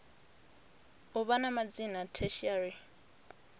u vha na madzina tertiary